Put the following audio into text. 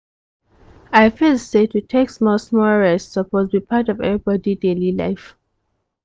i feel say to take small-small rest suppose be part of everybody daily life.